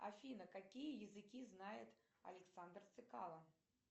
афина какие языки знает александр цекало